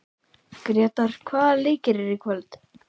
Gretar, hvaða leikir eru í kvöld?